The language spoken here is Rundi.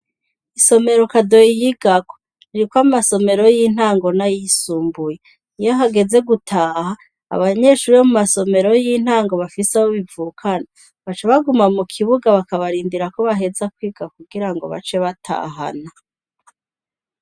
Isomero kadoyi yigako, ririko amasomero y'intango n'ayisumbuye; iyo hageze gutaha, abanyeshure bo mu masomero y'intango bafise abo bivukana, baca baguma mu kibuga bakabarindira ko baheza kwiga kugira ngo bace batahana.